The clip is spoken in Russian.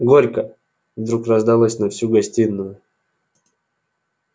горько вдруг раздалось на всю гостиную